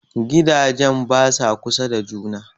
Gidajen basa kusa da juna